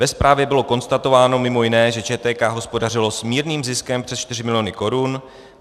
Ve zprávě bylo konstatováno mimo jiné, že ČTK hospodařila s mírným ziskem přes 4 miliony korun.